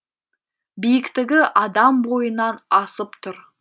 биіктігі адам бойынан асып тұр